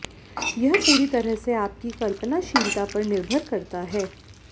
यह पूरी तरह से आपकी कल्पनाशीलता पर निर्भर करता है